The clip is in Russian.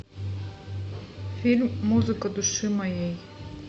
фильм музыка души моей